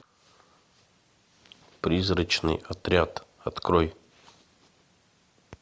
призрачный отряд открой